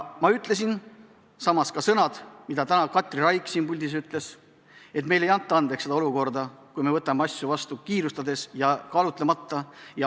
Ma ütlesin ka samad sõnad, mis Katri Raik täna siin puldis ütles: meile ei anta andeks olukorda, kui me võtame asju vastu kiirustades ja kaalutlemata.